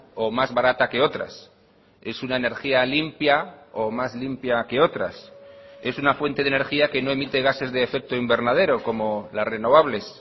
o más barata que otras es una energía limpia o más limpia que otras es una fuente de energía que no emite gases de efecto invernadero como las renovables